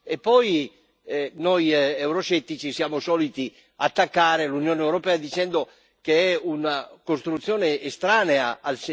Noi euroscettici siamo soliti attaccare l'Unione europea dicendo che è una costruzione estranea al sentire dei popoli.